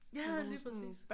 Ja lige præcis